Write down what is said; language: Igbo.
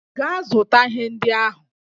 Gaa zụta ihe ndị ahụ!